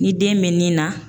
Ni den bɛ nin na